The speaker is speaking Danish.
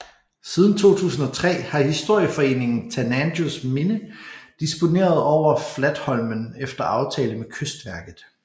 Siden 2003 har historieforeningen Tanangers Minne disponeret over Flatholmen efter aftale med Kystverket